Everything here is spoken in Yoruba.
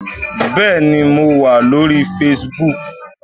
Bẹ́ẹ̀ni, mo wà lórí facebook